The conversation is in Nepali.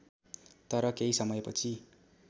तर केही समयपछि